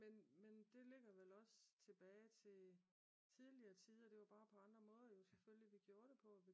Men det ligger vel også tilbage til tidligere tider det var bare på andre måder vi gjorde det på